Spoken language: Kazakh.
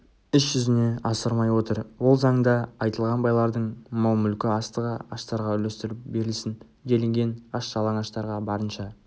іс жүзіне асырмай отыр ол заңда айтылған байлардың мал-мүлкі астығы аштарға үлестіріліп берілсін делінген аш-жалаңаштарға барынша